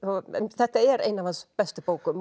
þetta er ein af hans bestu bókum